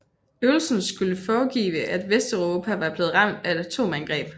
Øvelsen skulle foregive at Vesteuropa var blevet ramt af et atomangreb